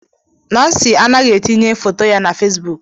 Nancy anaghị etinye foto ya na Fesbuk